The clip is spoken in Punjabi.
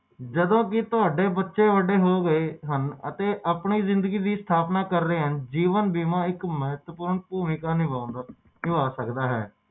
ਨਿਆਣੇ ਹੋ ਜਾਂਦੇ ਓਦੋ ਓਹਨਾ ਦੇ ਲਈ